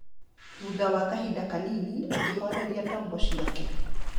Thutha wa kahinda kanini, akĩhoreria tombo ciake.